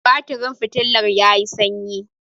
batirin fitilar ya yi sanyi